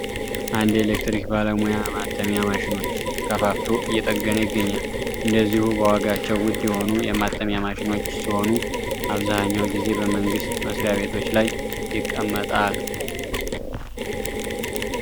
አንድ የኤሌክትሪክ ባለሙያ የማተሚያ ማሽኖች ከፋፍቶ እየጠገነ ይገኛል እንደዚሁ በዋጋቸው ውድ የሆኑ የማተሚያ ማሽኖች ሲሆኑ አብዛኛው ጊዜ በመንግስት መስሪያ ቤቶች ላይ ይቀመጣል ።